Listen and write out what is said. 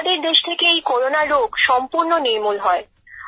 আমাদের দেশ থেকে এই করোনা রোগ সম্পূর্ণ নির্মূল করতে হবে